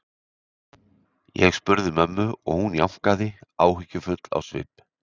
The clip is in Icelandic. Ég spurði mömmu og hún jánkaði, áhyggjufull á svip.